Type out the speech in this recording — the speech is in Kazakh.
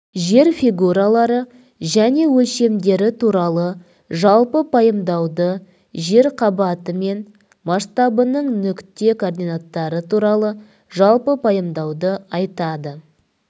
жер фигуралары және өлшемдері туралы жалпы пайымдауды жер қабаты мен масштабтарының нүкте координаттары туралы жалпы пайымдауды айтады